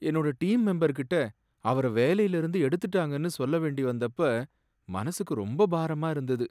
என்னோட டீம் மெம்பர்கிட்ட அவரை வேலையில இருந்து எடுத்துட்டாங்கனு சொல்ல வேண்டி வந்தப்ப மனசுக்கு ரொம்ப பாரமா இருந்தது.